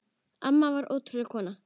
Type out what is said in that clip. Amma var ótrúleg kona.